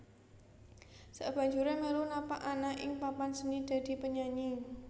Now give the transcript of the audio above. Sakbanjuré melu napak ana ing papan seni dadi penyanyi